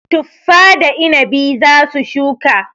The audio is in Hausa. Tuffa da inabi za su shuka.